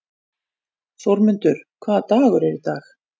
Þórmundur, hvaða dagur er í dag?